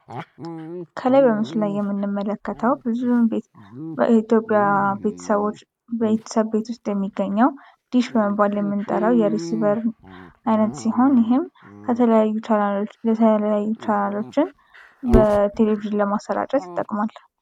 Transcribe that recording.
ከላይ በምስሉ ላይ የምንመለከተው ብዙውን ጊዜ የኢትዮጵያ ቤተሰቦች ቤተሰብ ውስጥ የሚገኘው ዲሽ በመባል የምንጠራው የሪሲቨር አይነት ሲሆን ይህም ከተለያዩ ቻናሎችን በቴሌቪዥን ለማሰራጨት ይጠቅማል።